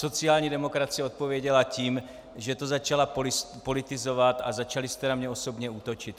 Sociální demokracie odpověděla tím, že to začala politizovat a začali jste na mě osobně útočit.